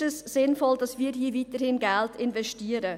Ist es sinnvoll, dass wir hier weiterhin Geld investieren?